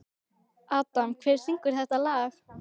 Adam, hver syngur þetta lag?